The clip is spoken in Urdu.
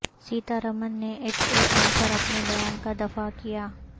سیتارمن نے ایچ اے ایل پر اپنے بیان کا دفا ع کیا